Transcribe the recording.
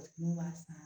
N'u b'a san